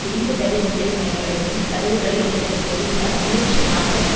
இரும்பு தடி ஒன்றை பயன்படுத்தி கதவுகளை உடைத்த போலீசார் நூற்றி நாற்பத்தி